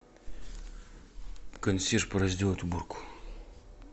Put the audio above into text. консьерж пора сделать уборку